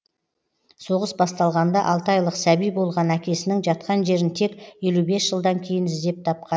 соғыс басталғанда алты айлық сәби болған әкесінің жатқан жерін тек елу бес жылдан кейін іздеп тапқан